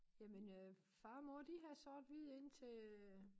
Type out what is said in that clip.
Jamen øh far og mor de havde sort-hvid indtil øh